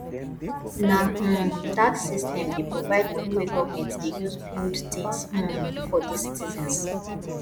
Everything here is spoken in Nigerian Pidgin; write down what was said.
na um tax system dey provide moni wey government dey use build tins um for di citizens